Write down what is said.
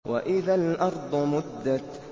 وَإِذَا الْأَرْضُ مُدَّتْ